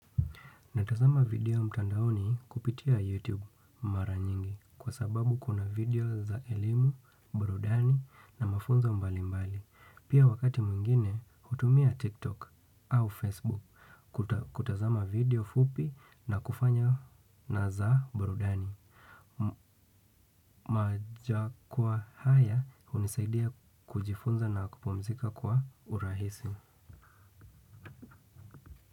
Natazama video mtandaoni kupitia YouTube mara nyingi kwa sababu kuna video za elimu, burudani na mafonza mbali mbali. Pia wakati mwingine, hutumia TikTok au Facebook kutazama video fupi na kufanya na za burudani. Majukwa haya hunisaidia kujifunza na kupumzika kwa urahisi.